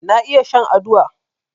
Na iya shan aduwa